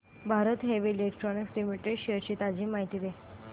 Bharat heavy electricals limited shares ची ताजी माहिती दे